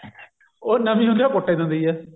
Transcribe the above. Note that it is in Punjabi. ਉਹ ਨਵੀਂ ਹੁੰਦੀ ਹੈ ਕੁੱਟ ਹੀ ਦਿੰਦੀ ਹੈ